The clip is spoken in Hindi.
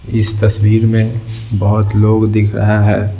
इस तस्वीर में बहुत लोग दिख रहा है।